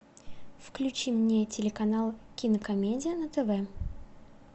включи мне телеканал кинокомедия на тв